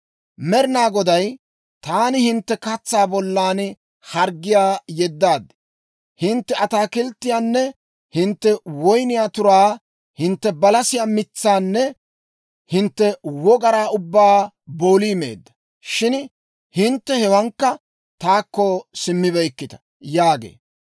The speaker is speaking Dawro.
Med'inaa Goday, «Taani hintte katsaa bollan harggiyaa yeddaad; hintte ataakilttiyaanne hintte woyniyaa turaa, hintte balasiyaa mitsaanne hintte wogaraa ubbaa boolii meedda; shin hintte hewaankka taakko simmibeykkita» yaagee.